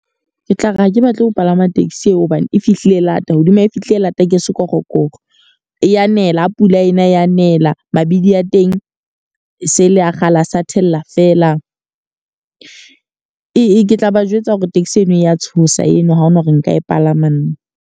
Ke tla re ha ke batle ho palama taxi eo hobane e fihlile lata. Hodima e fihlile lata ke sekorokoro. E a nela, ha pula ena e abnela. Mabidi a teng e se e le ya kgale, e a thella fela. Ke ke tla ba jwetsa hore taxi ena e ya tshosa eno ha hona hore nka e palama nna.